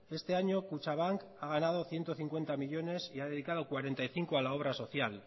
este año kutxabank ha ganado ciento cincuenta millónes y ha dedicado cuarenta y cinco a la obra social